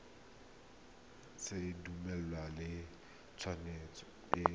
sa dumalane le tshwetso e